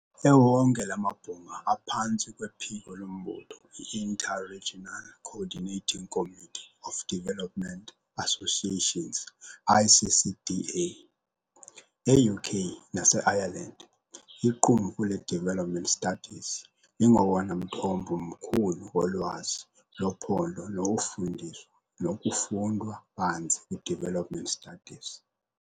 Ewonke la mabhunga aphantsi kwephiko lombutho i-Inter-regional Coordinating Committee of Development Associations, ICCDA. E-UK nase-Ireland, iqumrhu le-development Studies lingowona mthombo mkhulu wolwazi lophando nowofundiswa nokufunda banzi kwi-development studies.